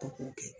Ko k'o kɛ